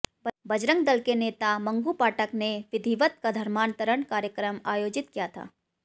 बजरंग दल के नेता मंगू पाठक ने विधिवत धर्मांतरण कार्यक्रम आयोजित किया था